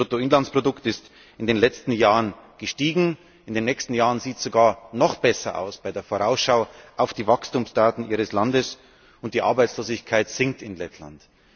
Das Bruttoinlandsprodukt ist in den letzten Jahren gestiegen, in den nächsten Jahren sieht es sogar noch besser aus bei der Vorausschau auf die Wachstumsdaten Ihres Landes, und die Arbeitslosigkeit sinkt in Lettland.